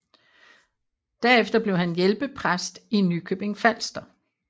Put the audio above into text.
Derefter blev han hjælpepræst i Nykøbing Falster